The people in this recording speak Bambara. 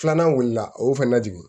Filanan wulila a y'o fɛnɛ jigin